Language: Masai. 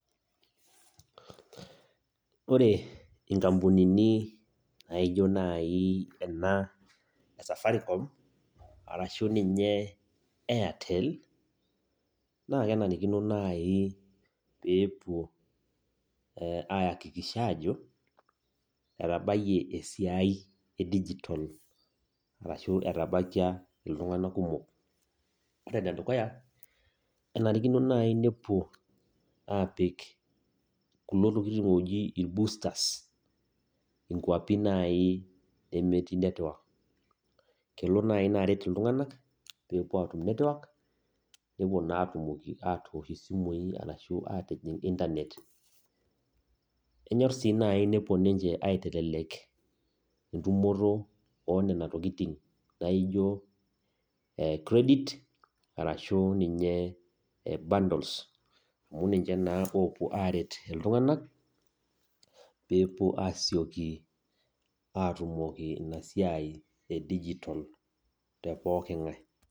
Oore inkampunini naijo naai eena e safaricom, arashu ninye airtel, naa kenarikino naaji peepuo aiakikisha aajo, etabayie esiai e digital arashu etabaikia iltung'anak kumok. Oore enedukua enarikino naaji nepuo aapik irboosters inkwapi naaji nemetii network kelo naai iina aret iltung'anak peyie epuo aatum network nepuo naa atumoki atoosh isimui, arashu atijing internet Enyor sii naaji nepuo ninche aitelelek entumoto onena tokitin, naijo credit arashu ninye bundles amuu ninche naake oopuo aret iltung'anak, pee epuo asioki atumoki iina siai e digital te pooki ng'ae.